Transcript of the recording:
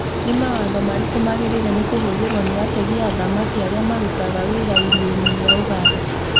Nĩ mawatho marĩkũ magĩrĩĩre nĩ kũhothirwo ni ategi a thamaki aria marũtaga wira iria-ĩni ria Ũganda?